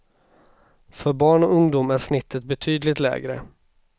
För barn och ungdom är snittet betydligt lägre.